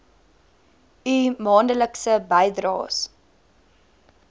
u maandelikse bydraes